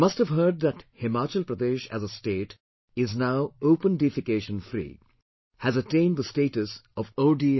You must have heard that Himachal Pradesh as a State is now Open Defecation Free, has attained the status of OFD